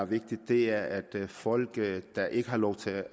vigtigt er at folk der ikke har lov til